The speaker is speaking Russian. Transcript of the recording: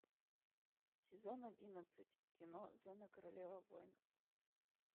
сезон одиннадцать кино зена королева войнов